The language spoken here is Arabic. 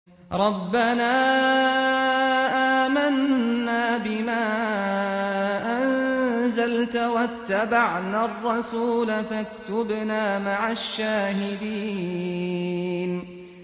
رَبَّنَا آمَنَّا بِمَا أَنزَلْتَ وَاتَّبَعْنَا الرَّسُولَ فَاكْتُبْنَا مَعَ الشَّاهِدِينَ